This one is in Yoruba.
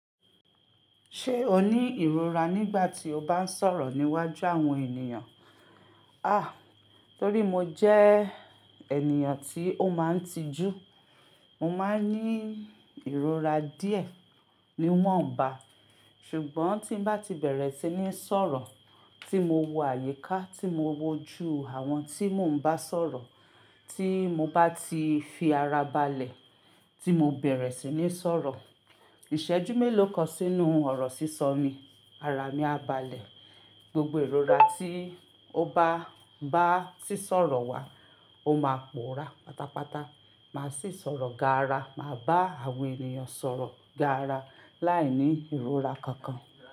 Ṣé o ní ìrora nígbà tí o bá ń sọ̀rọ̀ níwájú àwọn ènìyàn? A! Torí mo jẹ́ ènìyàn tí ó máa ń tijú, mo máa ń ní ìrora díẹ̀ níwọ̀nba, ṣùgbọ́n tí mo bá ti bẹ̀rẹ̀ sí ní sọ̀rọ̀ tí mo wo àyíká, tí mo wojú àwọn tí mò ń bá sọ̀rọ̀, tí mo bá ti fi ara balẹ̀ tí mo bẹ̀rẹ̀ sí ní sọ̀rọ̀, ìṣẹ́jú mélòó kan sínú ọ̀rọ̀ sísọ mi, ara mi á balẹ̀, gbogbo ìrora tí ó bá bá sísọ̀rọ̀ wa, ó máa pòórá pátápátá, màá sì sọ̀rọ̀ gaara, màá bá àwọn ènìyàn sọ̀rọ̀ gaara láìní ìrora kankan.